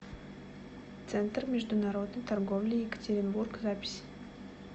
центр международной торговли екатеринбург запись